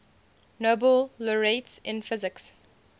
nobel laureates in physics